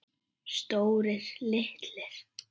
Stórir, litlir.